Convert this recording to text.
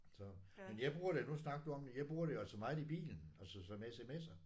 Så men jeg bruger det nu snakkede du om det jeg bruger det jo altså meget i bilen altså som SMS'er